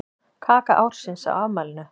Kaka ársins á afmælinu